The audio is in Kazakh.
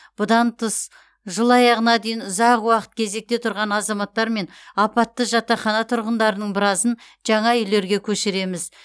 бұдан тыс жыл аяғына дейін ұзақ уақыт кезекте тұрған азаматтар мен апатты жатақхана тұрғындарының біразын жаңа үйлерге көшіреміз